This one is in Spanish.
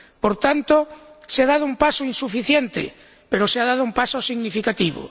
Por tanto, se ha dado un paso insuficiente, pero se ha dado un paso significativo.